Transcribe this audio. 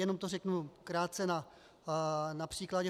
Jenom to řeknu krátce na příkladě.